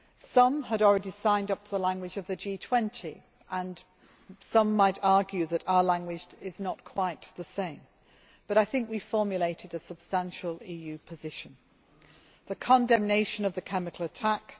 Some had already signed up to the language of the G20 and some might argue that our language is not quite the same, but I think we formulated a substantial EU position condemnation of the chemical attack